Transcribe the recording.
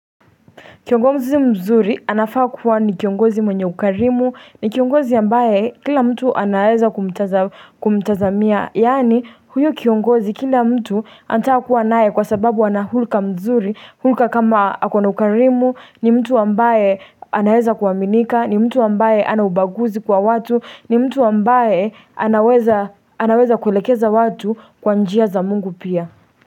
Kiongozi mzuri anafaa kuwa ni kiongozi mwenye ukarimu, ni kiongozi ambaye kila mtu anaweza kumta kumtazamia, yani huyu kiongozi kila mtu anataka kuwa nae kwa sababu anahulka mzuri, hulka kama akona ukarimu, ni mtu ambaye anaweza kuaminika, ni mtu ambaye hanaubaguzi kwa watu, ni mtu ambaye aah anaweza kulekeza watu kwa njia za mungu pia.